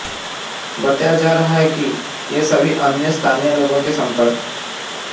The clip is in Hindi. बताया जा रहा है कि ये सभी अन्य स्थानीय लोगों के संपर्क